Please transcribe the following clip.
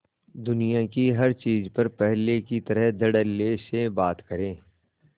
दुनिया की हर चीज पर पहले की तरह धडल्ले से बात करे